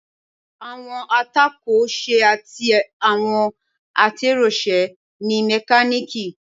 Àwọn atọ́kọ̀ ṣe àti àwọn atẹ́rọṣe ni mẹkáníìkì